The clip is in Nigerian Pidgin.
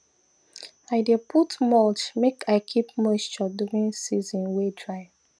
i dey put mulch make i keep moisture during season way dry